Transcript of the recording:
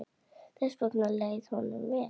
Þess vegna leið honum vel.